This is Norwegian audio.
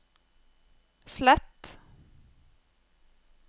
slett